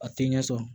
A tɛ ɲɛ sɔrɔ